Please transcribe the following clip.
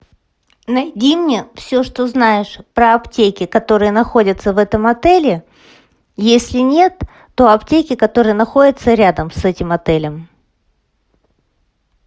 найди мне все что знаешь про аптеки которые находятся в этом отеле если нет то аптеки которые находятся рядом с этим отелем